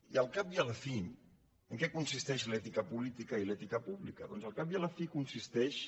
i al cap i a la fi en què consisteixen l’ètica política i l’ètica pública doncs al cap i a la fi consisteixen